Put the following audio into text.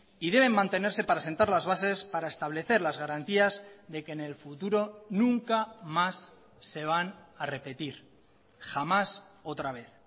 y deben mantenerse para sentar las bases para establecer las garantías de que en el futuro nunca más se van a repetir jamás otra vez